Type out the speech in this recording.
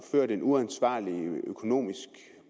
ført en uansvarlig økonomisk